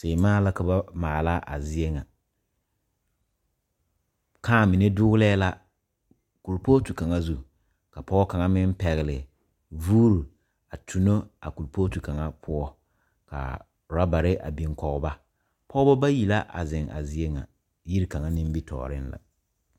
Seemaa la ka ba maala a zie ŋa kãã mine doglɛɛ la kuripooti kaŋa zu ka pɔge kaŋ meŋ pɛgle vuuri a tuno a kuripooti kaŋa poɔ k,a orɔbare a biŋ kɔge ba pɔge bayi la a zeŋ a zie ŋa yigi kaŋa nimitɔɔreŋ la.